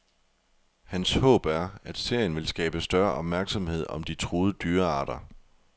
Hans håb er, at serien vil skabe større opmærksomhed om de truede dyrearter.